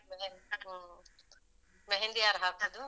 ಮೆಹಂದಿ, ಹು ಮೆಹೆಂದಿ ಯಾರ್ ಹಾಕುದು?